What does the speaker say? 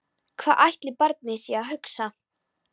Hvað ætli barnið sé að hugsa?